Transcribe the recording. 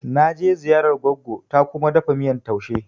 Na je ziyarar gogo ta Kuma ta dafa miyan taushe.